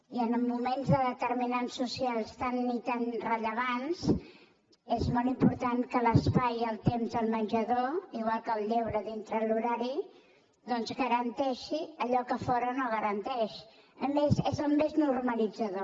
i en mo·ments de determinants socials tan i tan rellevants és molt important que l’espai i el temps del menjador igual que el lleure dintre l’horari doncs garanteixin allò que a fora no es garanteix a més és el més nor·malitzador